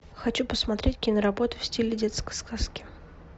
хочу посмотреть киноработу в стиле детской сказки